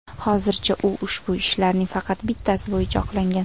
Hozircha u ushbu ishlarning faqat bittasi bo‘yicha oqlangan.